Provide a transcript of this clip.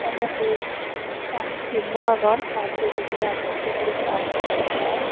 ennedi gaj tinno agon ar pijedi agon suguri gaaj ar.